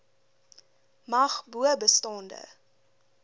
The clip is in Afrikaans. mag bo bestaande